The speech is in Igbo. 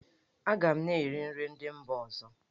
Aga m na-eri nri ndị mba ọzọ.